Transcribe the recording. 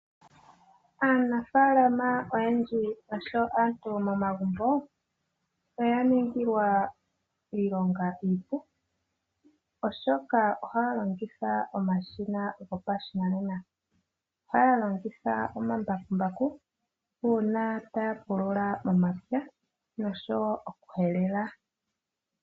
Aanafaalama oyendji oshowo aantu momagumbo oya ningilwa iilonga iipu, oshoka ohaya longitha omashina gopashinanena. Ohaya longitha omambakumbaku uuna taya pulula omapya noshowo oku helela.